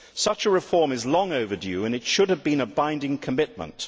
Such a reform is long overdue and it should have been a binding commitment.